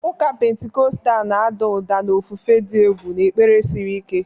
Ụka Pentikọstal na-ada ụda na ofufe dị egwu na ekpere siri ike.